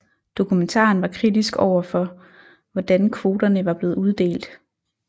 Dokumentaren var kritisk overfor hvordan kvoterne var blevet uddelt